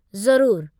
ज़रूरु।